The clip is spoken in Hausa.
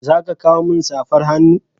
Za ka kawo min safar hannu?